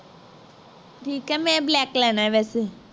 ਠੀਕ ਹੈ ਮੈਂ black ਲੈਣਾ ਵੈਸੇ